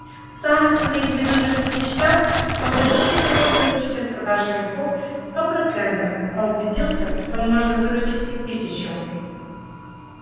в самых своих безудержных мечтах он рассчитывал выручить от продажи мехов сто процентов а убедился что можно выручить и тысячу